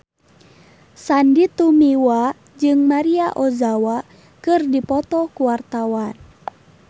Sandy Tumiwa jeung Maria Ozawa keur dipoto ku wartawan